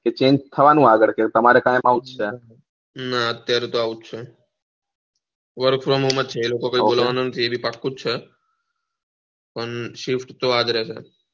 cheng થવાનું આગળ કે તમારે ત્યાં તો એવું જ છે ના અત્યારે તો આવું જ છે work from home જ છે એ લોકો કઈ બાદલ વાનું નથી પણ શેપ તો આ જ રહશે